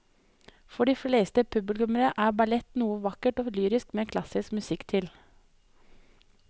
For de fleste publikummere er ballett noe vakkert og lyrisk med klassisk musikk til.